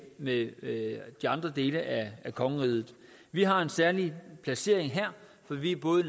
med med de andre dele af kongeriget vi har en særlig placering her for vi er både